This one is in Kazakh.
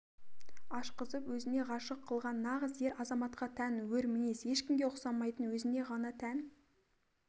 ашқызып өзіне ғашык қылған нағыз ер азаматқа тан өр мінез ешкімге ұксамайтын өзіне ғана тән